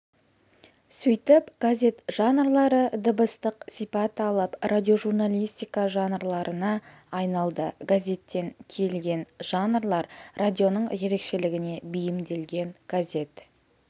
сөйтіп газет жанрлары дыбыстық сипат алып радиожурналистика жанрларына айналды газеттен келген жанрлар радионың ерекшелігіне бейімделген газет